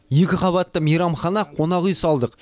екі қабатты мейрамхана қонақүй салдық